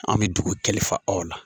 An bi dugu kalifa aw la.